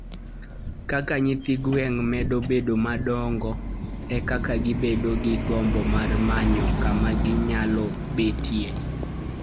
Kaka nyithi gwen medo bedo madongo, e kaka gibedo gi gombo mar manyo kama ginyalo betie.